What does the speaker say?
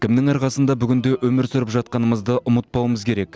кімнің арқасында бүгінде өмір сүріп жатқанымызды ұмытпауымыз керек